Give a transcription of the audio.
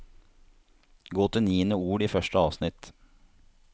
Gå til niende ord i første avsnitt